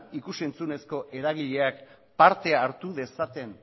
ikus entzunezko eragileak parte hartu dezaten